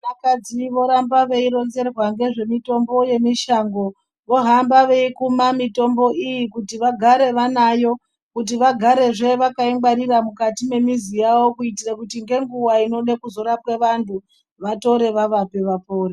Vakadzi voramba veironzerwa ngezvemitombo yemushango vohamba veikuma mitombo iyi kuti vagare vanayo kuti vagarezve vakaingwarira mukati memizi yavo kuitira ngenguva inode kuzorapwe vantu vatore vavape vapore.